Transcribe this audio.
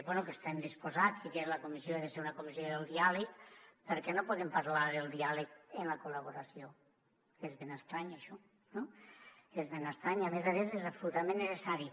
bé i hi estem disposats que la comissió ha de ser una comissió del diàleg per què no podem parlar del diàleg i la col·laboració és ben estrany això no és ben estrany i a més a més és absolutament necessari